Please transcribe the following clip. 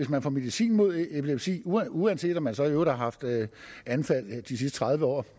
man får medicin mod epilepsi uanset om man så i øvrigt har haft anfald de sidste tredive år